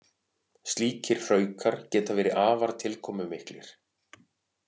Slíkir hraukar geta verið afar tilkomumiklir.